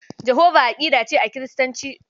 Jahova aƙida ce a Kiristanci.